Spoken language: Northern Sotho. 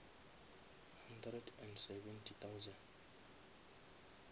hundred and seventy thousand